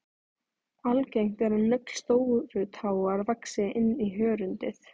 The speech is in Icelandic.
Algengt er að nögl stórutáar vaxi inn í hörundið.